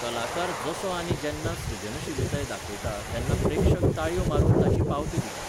कलाकार जसो आनी जेन्ना सृजनशीलताय दाखयता तेन्ना प्रेक्षक ताळयो मारून ताची पावती दितात.